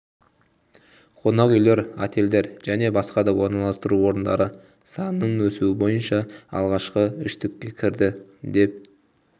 қонақ үйлер отельдер және басқа да орналастыру орындары санының өсуі бойынша алғашқы үштікке кірді деп